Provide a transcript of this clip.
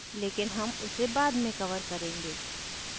लेकिन हम उसे बाद में cover करेंगे